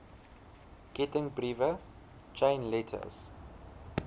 kettingbriewe chain letters